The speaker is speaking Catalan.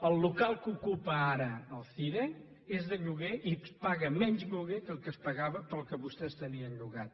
el local que ocupa ara el cire és de lloguer i paga menys lloguer que el que es pagava pel que vostès tenien llogat